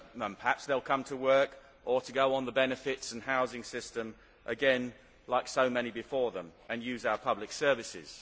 Perhaps they will come to work, or to go on the benefits or housing system again like so many before them and use our public services.